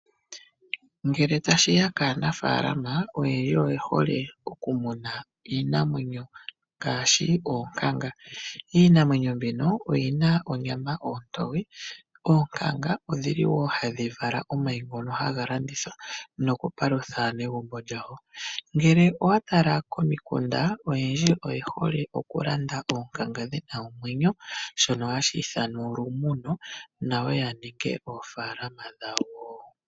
Ngele ta shiya kaanafaalama, oyendji oye hole okumuna iinamwenyo ngaashi oonkanga. Iinamwenyo mbino oyina onyama ontoye. Oonkanga odhili wo ohadhi vala omayi ngono haga landithwa nokupalutha aanegumbo. Ngele owa tala komikunda, oyendji oye hole okulanda oonkanga ndhoka dhina omwenyo, shono hashi ithanwa olumuno, nayo ya ninge oofaalama dhawo.